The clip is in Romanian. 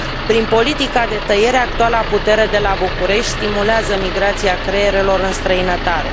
Prin politica de tăiere, actuala putere de la București stimulează migrația creierelor în străinătate.